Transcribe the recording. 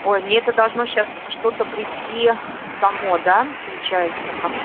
ой мне это должно сейчас что-то прийти само да получается как